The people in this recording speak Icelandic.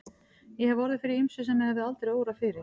Ég hef orðið fyrir ýmsu sem mig hefði aldrei órað fyrir.